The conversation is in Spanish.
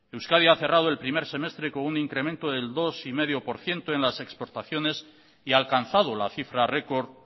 euskadi ha cerrado el primer semestre con un incremento del dos coma cinco por ciento en las exportaciones y ha alcanzado la cifra récord